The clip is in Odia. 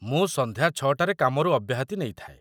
ମୁଁ ସନ୍ଧ୍ୟା ୬ ଟାରେ କାମରୁ ଅବ୍ୟାହତି ନେଇଥାଏ।